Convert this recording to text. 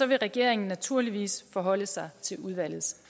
vil regeringen naturligvis forholde sig til udvalgets